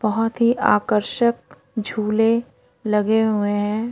बहुत ही आकर्षक झूले लगे हुए हैं।